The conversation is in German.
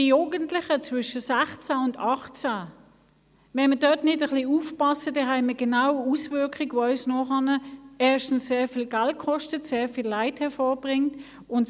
Wenn wir bei den Jugendlichen zwischen 16 und 18 Jahren nicht aufpassen, folgen anschliessend Auswirkungen, die viel Geld kosten und viel Leid hervorbringen.